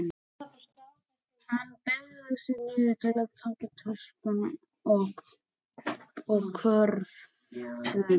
Hann beygði sig niður til að taka töskuna og körfuna.